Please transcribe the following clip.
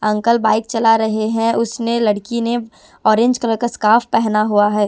Uncle bike चला रहे हैं उसने लड़की ने औरेंज कलर का स्कार्फ पहना हुआ है।